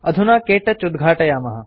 अधुना के टच उद्घाटयामः